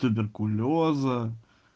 туберкулёза